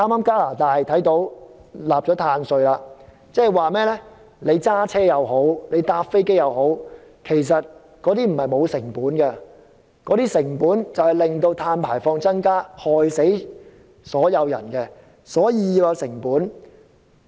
加拿大剛訂立了碳稅，即是說不論駕車或搭飛機，不是沒有成本的，其成本就是導致碳排放量增加，會害死所有人，所以要計算成本。